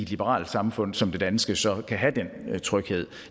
liberalt samfund som det danske så kan have den tryghed